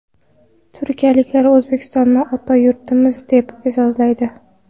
Turkiyaliklar O‘zbekistonni ota yurtimiz, deb e’zozlaydi.